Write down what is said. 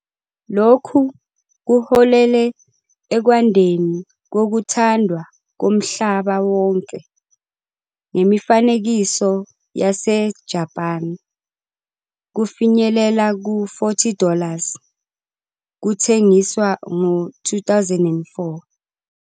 Lokhu kuholele ekwandeni kokuthandwa komhlaba wonke ngemifanekiso yaseJapan, kufinyelela ku- 40 dollars kuthengiswa ngo-2004.